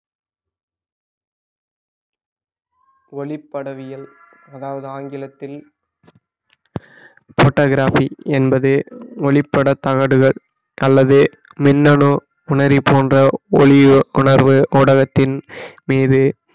ஒளிப்படவியல் அதாவது ஆங்கிலத்தில் photography என்பது ஒளிப்பட தகடுகள் அல்லது மின்னனும் புணரி போன்ற ஒளியோ உணர்வு ஊடகத்தின் மீது